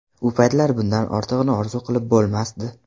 U paytlar bundan ortig‘ini orzu qilib bo‘lmasdi.